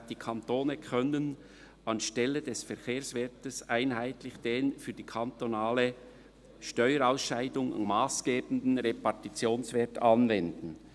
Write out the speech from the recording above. «Die Kantone können anstelle des Verkehrswertes einheitlich den für die interkantonale Steuerausscheidung massgebenden Repartitionswert anwenden.»